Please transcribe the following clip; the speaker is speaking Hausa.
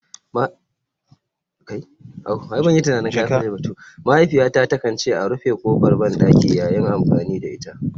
Mahaifiyata takan ce a rufe kofar bandaki yayin amfani da ita.